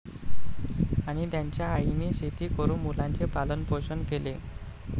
आणि त्यांच्या आईने शेती करून मुलांचे पालनपोषण केले.